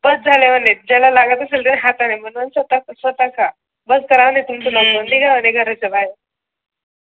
बस झाला म्हणे त्याला लागत असेल तर हाताने बनवा स्वतः स्वतः खा बस करा म्हणे तुम्ही करायचं आहे निघा म्हणे घराच्या बाहेर